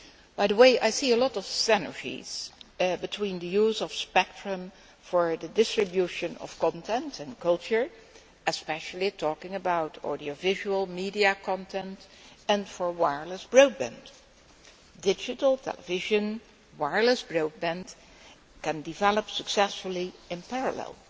By the way, I see a lot of synergies between the use of spectrum for the distribution of content and culture, especially talking about audiovisual media content and for wireless broadband. Digital television and wireless broadband can develop successfully in parallel